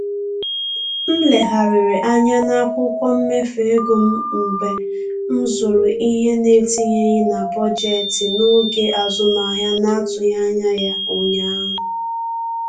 M legharịrị anya n'akwụkwọ mmefu ego m mgbe m zụrụ ihe na-etinyeghị na bọjetị n'oge azụmahịa na-atụghị anya ya ụnyaahụ